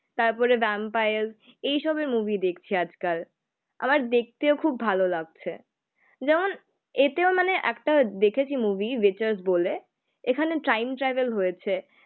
তারপরে ভ্যাম্পায়ার্স এইসবের মুভি দেখছি আজকাল. আমার দেখতেও খুব ভালো লাগছে যেমন এতেও মানে একটা দেখেছি মুভি বলে. এখানে টাইম ট্রাভেল হয়েছে